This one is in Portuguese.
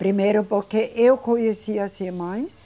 Primeiro porque eu conhecia as irmãs,